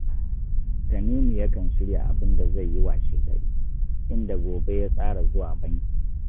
Tanimu yakan shirya abin da zai yi washegari, inda gobe ya tsara zuwa banki